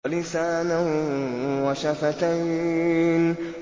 وَلِسَانًا وَشَفَتَيْنِ